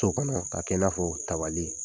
To kɔnɔ k'a kɛ i n'a fɔ tabali